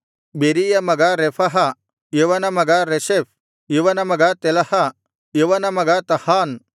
ಬೆರೀಯ ಮಗ ರೆಫಹ ಇವನ ಮಗ ರೆಷೆಫ್ ಇವನ ಮಗ ತೆಲಹ ಇವನ ಮಗ ತಹಾನ್